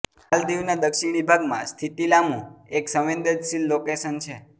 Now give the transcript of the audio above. માલદીવના દક્ષિણી ભાગમાં સ્થિતિ લામૂ એક સંવેદનશીલ લોકેશન છે